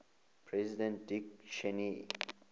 president dick cheney